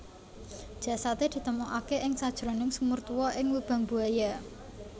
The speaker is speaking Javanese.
Jasadé ditemokaké ing sajroning sumur tuwa ing Lubang Buaya